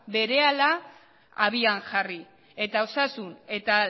berehala abian jarri eta osasun eta